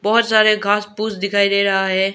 बहोत सारे घास पूस दिखाई दे रहा है।